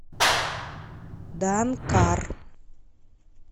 данкар